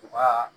U ka